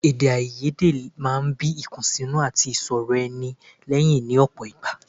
Èdèáiyedé máa ń bí ìkùnsínú àti ìsọrọ̀-ara-ẹni lẹ́yìn ní ọ̀pọ̀ ìgbà.